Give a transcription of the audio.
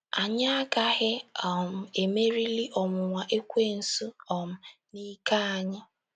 Anyị agaghị um emerili ọnwụnwa ekwensu um n’ike anyị.